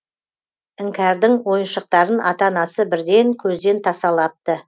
іңкәрдің ойыншықтарын ата анасы бірден көзден тасалапты